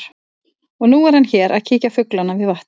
Og nú er hann hér að kíkja á fuglana við vatnið mitt.